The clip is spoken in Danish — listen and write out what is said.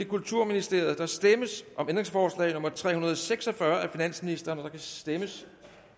kulturministeriet der stemmes om ændringsforslag nummer tre hundrede og seks og fyrre af finansministeren der kan stemmes